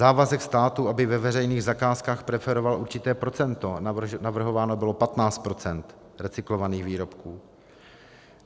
Závazek státu, aby ve veřejných zakázkách preferoval určité procento, navrhováno bylo 15 % recyklovaných výrobků.